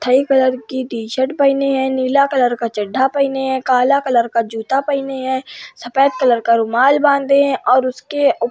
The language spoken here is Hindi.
थाई कलर की टी शर्ट पहने हैं। नीला कलर का चड्डा पहने हैं। काला कलर का जूता पहने हैं। सफ़ेद कलर का रुमाल बांधे हैं और उसके ऊ --